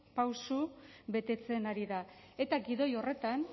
pausu betetzen ari da eta gidoi horretan